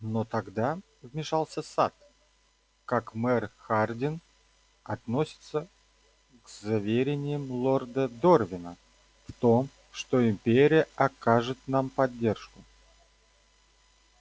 но тогда вмешался сатт как мэр хардин относится к заверениям лорда дорвина в том что империя окажет нам поддержку